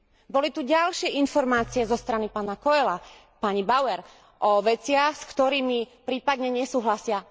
Boli tu ďalšie informácie zo strany pána Coelha, pani Bauer o veciach, s ktorými prípadne nesúhlasia.